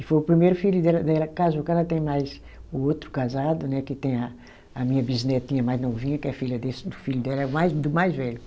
E foi o primeiro filho dela dela que casou, que ela tem mais o outro casado né, que tem a a minha bisnetinha mais novinha, que é filha desse do filho dela, é o mais do mais velho.